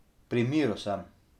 Pri miru sem.